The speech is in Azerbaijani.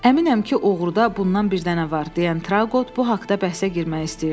Əminəm ki, oğruda bundan bir dənə var, deyən Trauqot bu haqda bəhsə girmək istəyirdi.